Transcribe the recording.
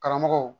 Karamɔgɔw